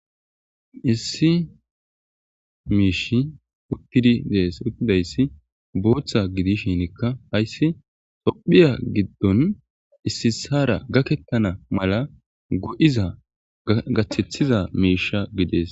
issi miishi uttidi dees uttidayssi booththa gidishinikka hayssi tophiya giddon issisara gakettana mala go7iza gachethiza miisha gidees